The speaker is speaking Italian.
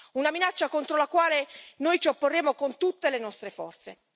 Una minaccia contro la quale noi ci opporremo con tutte le nostre forze.